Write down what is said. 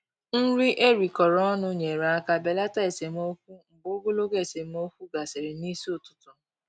Nri erikọrọ ọnụ nyere aka belata esemokwu mgbe ogologo esemokwu gasịrị n'isi ụtụtụ.